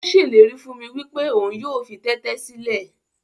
Ó ṣèlérí fún mi wípé òun yóò fi tẹ́tẹ́ sílẹ̀.